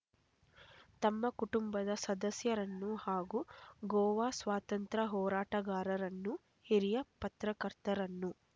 ತಮ್ಮ ಕುಟುಂಬದ ಸದಸ್ಯರನ್ನು ಹಾಗೂ ಗೋವಾ ಸ್ವಾತಂತ್ರ್ಯ ಹೋರಾಟಗಾರರನ್ನು ಹಿರಿಯ ಪತ್ರಕರ್ತರನ್ನು